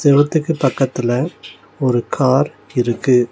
செவுத்துக்கு பக்கத்துல ஒரு கார் இருக்கு.